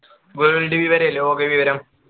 world വിവരം ലോക വിവരം